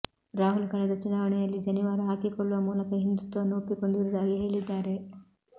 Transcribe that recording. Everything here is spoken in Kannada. ರಾಹುಲ್ ಕಳೆದ ಚುನಾವಣೆಯಲ್ಲಿ ಜನಿವಾರ ಹಾಕಿಕೊಳ್ಳುವ ಮೂಲಕ ಹಿಂದುತ್ವವನ್ನು ಒಪ್ಪಿಕೊಂಡಿರುವುದಾಗಿ ಹೇಳಿದ್ದಾರೆ